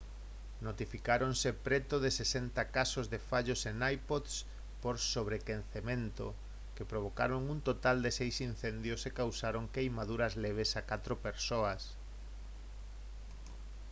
notificáronse preto de 60 casos de fallos en ipods por sobrequecemento que provocaron un total de seis incendios e causaron queimaduras leves a catro persoas